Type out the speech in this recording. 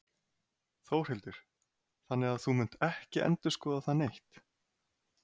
Þórhildur: Þannig að þú munt ekki endurskoða það neitt?